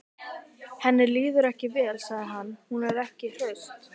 Henni líður ekki vel, sagði hann: Hún er ekki hraust.